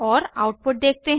और आउटपुट देखते हैं